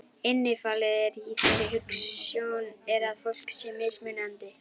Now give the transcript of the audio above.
Innifalið í þeirri hugsjón er að fólk sé mismunandi.